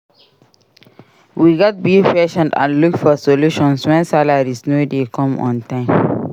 We gats be patient and look for solutions wen salaries no dey come on time.